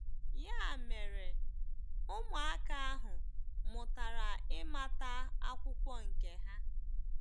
Ya mere, ụmụaka ahụ mụtara ịmata akwụkwọ nke ha.